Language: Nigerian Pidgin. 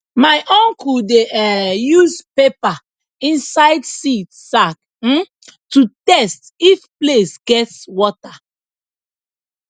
my uncle dey um use paper inside seed sack um to test if place gets water